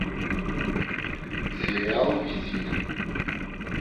сериал визит